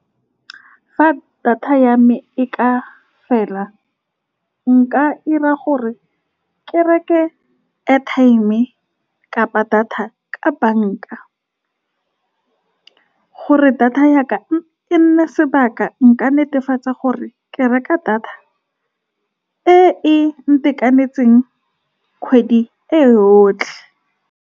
Fa data ya me e ka fela, nka 'ira gore ke reke airtime kapa data ka banka, gore data ya ka e nne sebaka. Nka netefatsa gore ke reka data e e ntekanetseng kgwedi e yotlhe.